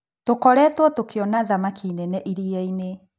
Tũkoretwo tũkĩona thamaki nene iria-inĩ.